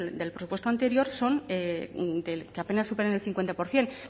del presupuesto anterior son que apenas superan el cincuenta por ciento